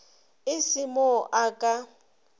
e se mo a ka